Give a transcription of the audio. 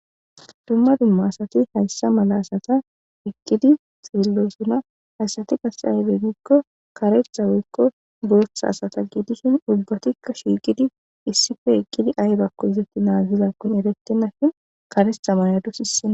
Dumma dumma asati hayssa mala asata eqqiddi de'ossona. Hayssatti qase maybe giiko kareththa woyko booththa asata gidishin ubbatikka shiqidi issippe eqqidi aybbako izappe nagizakkon erettenashin kareththa mayadus issina.